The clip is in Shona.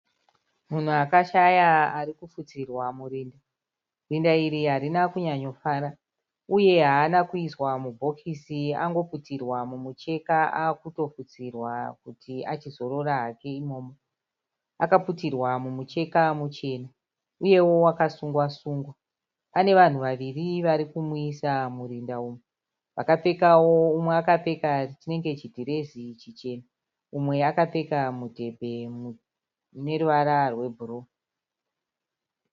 Munhu akashaya arikupfutsirwa murinda. Rinda iri harina kunyanyo fara, uye haana kuiswa mubhokisi angoputirwa mumucheka akutopfutsirwa kuti achizorora hake imomo. Akaputirwa mumucheka muchena uyewo akasungwa sungwa. Ane vanhu vaviri varikumuisa murinda umu. Umwe akapfeka chinenge chidhirezi chichena úmwe akapfeka mudhebhe une ruvara rwe bhuruu.